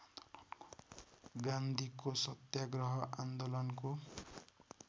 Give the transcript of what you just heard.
गान्धीको सत्याग्रह आन्दोलनको